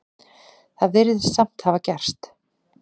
Það virðist samt hafa gerst.